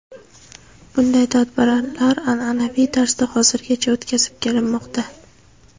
Bunday tadbirlar an’anaviy tarzda hozirgacha o‘tkazib kelinmoqda.